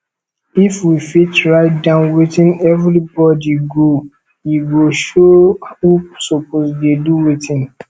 if we fit write down wetin everybody go e go show who suppose dey do wetin